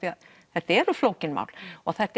þetta eru flókin mál og þetta